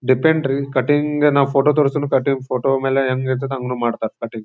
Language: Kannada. ಡೆಪೆಂಡ್ರಿ ಕಟಿಂಗ್ ನಾವ್ ಫೋಟೋ ತೋರಿಸದ್ರೆ ಫೋಟೋ ಮೇಲೆ ಹೆಂಗ್ ಇರುತ್ತೆ ಹಂಗು ಮಾಡ್ತಾರ ಕಟಿಂಗ್ .